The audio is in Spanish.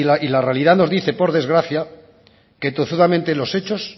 y la realidad nos dice por desgracia que en tozudamente los hechos